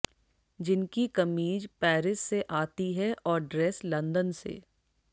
जिनकी कमीज पैरिस से आती है और ड्रेस लंदन से